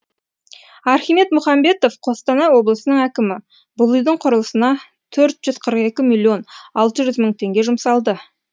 архимед мұхамбетов қостанай облысының әкімі бұл үйдің құрылысына төрт жүз қырық екі миллион алты жүз мың теңге жұмсалды